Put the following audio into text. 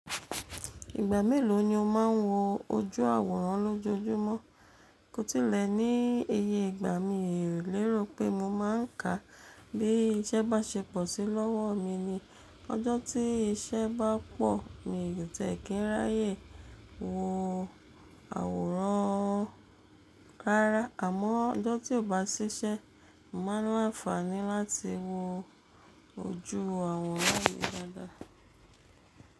Ìgbà mélòó ni o máa ń wo ojú àwòrán lójoojúmọ́? Kò tilẹ̀ ní iye ìgbà, mi ò lérò pé mo máa ń ká. Bí iṣẹ́ bá ṣepọ̀ sí lọ́wọ́ mi ni ọjọ́ tí iṣẹ́ bá pọ̀ mi ò ti e kí n ráyé wo àwòrán rárá, àmọ́ ọjọ́ tí ò bá ṣiṣẹ́, mo màá ní àǹfààní láti wo ojú àwòrán yén dáadáa.